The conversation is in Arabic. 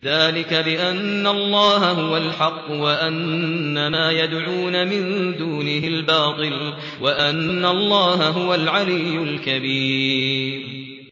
ذَٰلِكَ بِأَنَّ اللَّهَ هُوَ الْحَقُّ وَأَنَّ مَا يَدْعُونَ مِن دُونِهِ الْبَاطِلُ وَأَنَّ اللَّهَ هُوَ الْعَلِيُّ الْكَبِيرُ